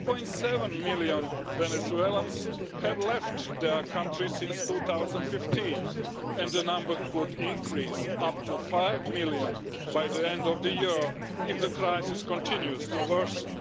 2.7 million Venezuelans have left the country since 2015 and the number could rise to 5 million by the end of the year if the crisis continues to worsen.